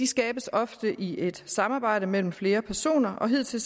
skabes ofte i et samarbejde mellem flere personer og hidtil